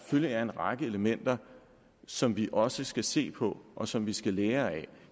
er en række elementer som vi også skal se på og som vi skal lære af